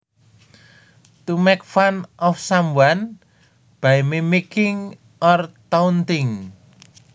To make fun of someone by mimicking or taunting